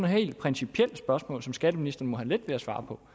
helt principielt spørgsmål som skatteministeren må have let ved at svare på